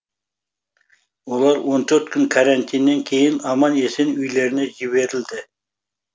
олар он төрт күн карантиннен кейін аман есен үйлеріне жіберілді